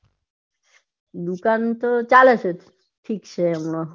દુકાન તો ચાલે છે ઠીક છે. હમણાં ઠીક છે હમણાં જેવું છે નઈ એમ હમણાં તો કોઈ છે નઈ હવે લાગશે એટલે થોડી ગરાકી નીકળશે